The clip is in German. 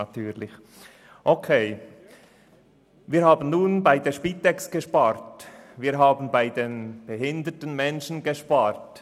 Nun haben wir bei der Spitex gespart, wir haben bei den behinderten Menschen gespart.